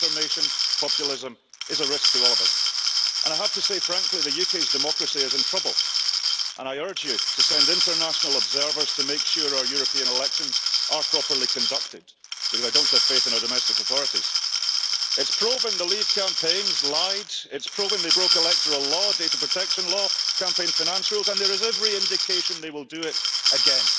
Misinformation, populism is a risk to all of us and I have to say frankly the UK's democracy is in trouble, and I urge you to send international observers to make sure our European elections are properly conducted, because I don't have faith in our domestic authorities. It's proven the leave campaigns lied, it's proven they broke electoral law, data protection law, campaign finance rules, and there is every indication they will do it again.